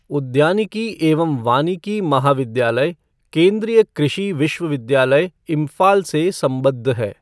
उद्यानिकी एवं वानिकी महाविद्यालय, केंद्रीय कृषि विश्वविद्यालय, इम्फाल से संबद्ध है।